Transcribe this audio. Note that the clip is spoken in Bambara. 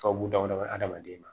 Sababu damadɔ adamaden ma